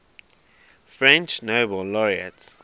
french nobel laureates